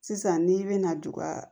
Sisan n'i bɛna ju ka